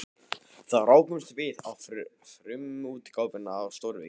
Þar rákumst við á frumútgáfuna af stórvirki